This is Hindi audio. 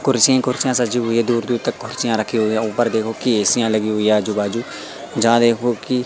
कुर्सियां ही कुर्सियां सजी हुई हैं दूर दूर तक कुर्सीयां रखी हुई हैं ऊपर देखो कि एसियां लगी हैं आजू बाजू जहां देखो कि--